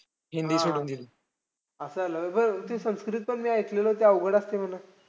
हा हा. असं झालेलं संस्कृत पण मी ऐकलेलं अवघड असते म्हणून?